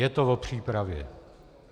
Je to o přípravě.